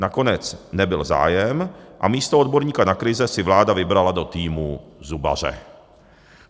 Nakonec nebyl zájem a místo odborníka na krize si vláda vybrala do týmu zubaře.